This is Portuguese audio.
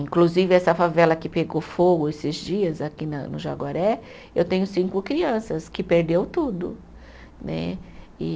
Inclusive, essa favela que pegou fogo esses dias aqui na no Jaguaré, eu tenho cinco crianças que perdeu tudo né. E